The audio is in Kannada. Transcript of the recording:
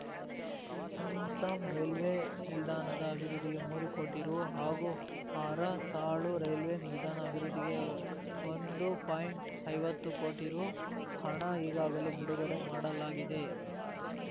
ಕುಂಸ ರೈಲ್ವೆ ನಿಲ್ದಾಣ ಅಭಿವೃದ್ಧಿಗೆ ಮೂರು ಕೋಟಿ ರು ಹಾಗೂ ಅರಸಾಳು ರೈಲ್ವೆ ನಿಲ್ದಾಣ ಅಭಿವೃದ್ಧಿಗೆ ಒಂದು ಪಾಯಿಂಟ್ಐವತ್ತು ಕೋಟಿ ರು ಹಣ ಈಗಾಗಲೇ ಬಿಡುಗಡೆ ಮಾಡಲಾಗಿದೆ